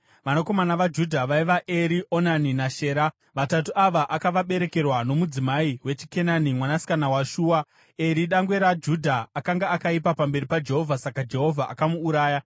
Vanakomana vaJudha vaiva: Eri, Onani naShera. Vatatu ava akavaberekerwa nomudzimai wechiKenani, mwanasikana waShua. Eri dangwe raJudha, akanga akaipa pamberi paJehovha. Saka Jehovha akamuuraya.